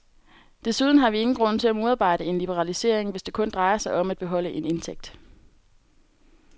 Desuden har vi ingen grund til at modarbejde en liberalisering, hvis det kun drejer sig om at beholde en indtægt.